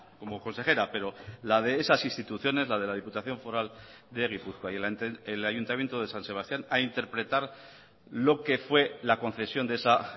como consejera pero la de esas instituciones la de la diputación foral de gipuzkoa y el ayuntamiento de san sebastían a interpretar lo que fue la concesión de esa